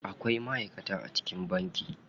Akwai ma'aikata a cikin banki.